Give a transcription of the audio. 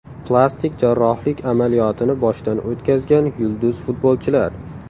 Plastik jarrohlik amaliyotini boshdan o‘tkazgan yulduz futbolchilar.